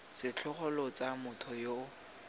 setlhogo lo tsaya motho yo